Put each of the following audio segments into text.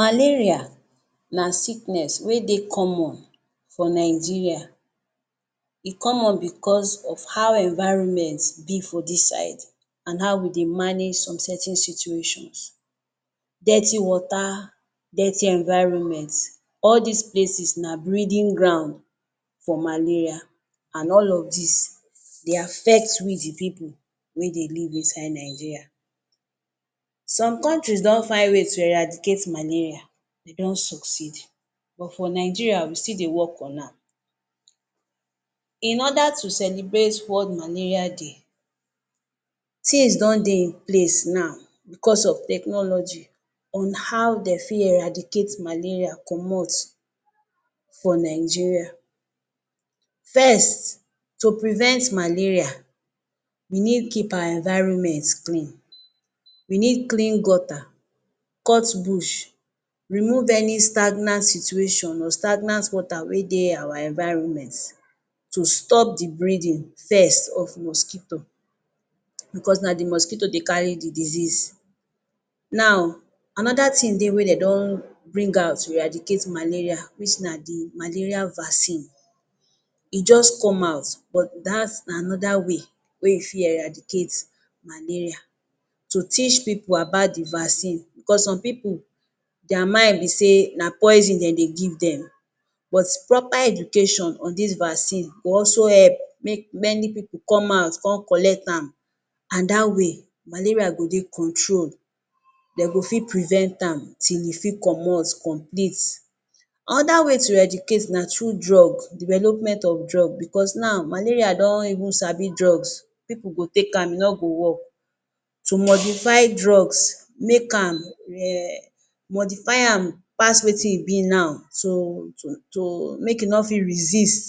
Malaria na sickness wey dey common for Nigeria, e common bicos of how environment dey for dis side and how we dey manage some certain situations, dirty water, dirty environment all dis places na breeding ground for malaria. And all of dis, dey affect we di pipu wey dey live inside Nigeria. Some countries don find way to eradicate malaria dey don succeed but for Nigeria we still dey work on am. In oda to celebrate world malaria day, tins don dey in place na bicos of technology on how dem fit eradicate malaria comot for Nigeria. First, to prevent malaria, we need keep our environment clean we need clean gutta, cut Bush remove any stagnant situation or stagnant water wey dey our environment to stop di breeding first of mosquito bicos na di mosquito dey carry di disease, now anoda dey wey dem don bring out to eradicate malaria dis na di malaria vaccine e just come out but dats na anoda way wey you fit eradicate malaria to teach pipu about di vaccines bicos some pipu, dia mind be say na poison dem dey give dem but proper education on dis vaccine go also help make many pipu come out come collect am and dat way malaria go dey control dem go fit prevent am till e fit comot complete. Anoda way to eradicate na through drugs, development of drugs bicos now, malaria don even sabi drugs pipu go take am e no go work, to modify drugs make am emm, modify am pass wetin e bi now so, make e no fit resist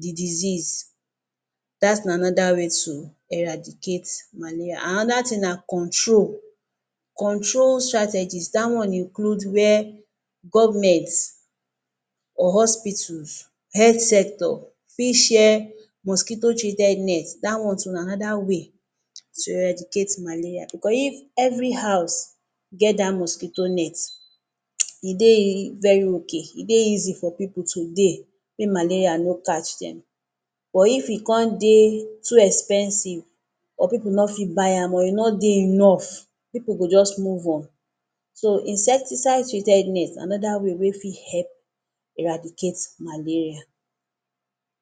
di disease dats na anoda way to eradicate malaria. Anoda tin na control. Control strategies dat one include where govment or hospitals, health sector fit share mosquito treated net dat one too na anoda way to eradicate malaria, bicos if every house get dat mosquito net, e dey very ok e dey easy for pipu to dey if malaria no catch dem but if e come dey too expensive or pipu no fit buy am or e no dey enough pipu go just move on, so insecticide treated net anoda way wey fit help eradicate malaria.